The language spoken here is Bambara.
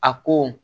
A ko